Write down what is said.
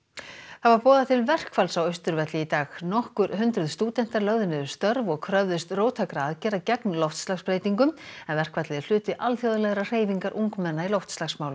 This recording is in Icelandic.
það var boðað til verkfalls á Austurvelli í dag nokkur hundruð stúdentar lögðu niður störf og kröfðust róttækra aðgerða gegn loftslagsbreytingum en verkfallið er hluti alþjóðlegrar hreyfingar ungmenna í loftslagsmálum